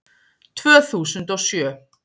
Tvö þúsund og sjö